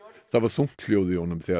það var þungt hljóð í honum þegar